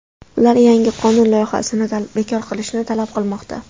Ular yangi qonun loyihasini bekor qilishni talab qilmoqda.